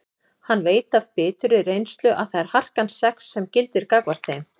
Hann veit af biturri reynslu að það er harkan sex sem gildir gagnvart þeim.